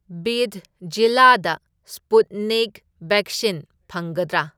ꯕꯤꯗ ꯖꯤꯂꯥꯗ Sputnik vaccine ꯐꯪꯒꯗ꯭ꯔꯥ?